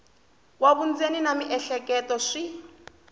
wa vundzeni na miehleketo swi